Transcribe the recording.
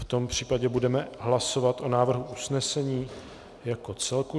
V tom případě budeme hlasovat o návrhu usnesení jako celku.